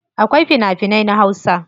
Akwai fina finai na hausa.